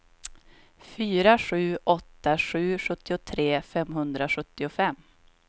fyra sju åtta sju sjuttiotre femhundrasjuttiofem